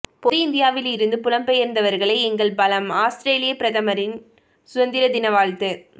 பொது இந்தியாவிலிருந்து புலம்பெயர்ந்தவர்களே எங்கள் பலம் ஆஸ்திரேலிய பிரதமரின் சுதந்திர தின வாழ்த்து